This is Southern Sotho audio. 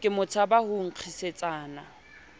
ke mo tshabang ho nkgisetsana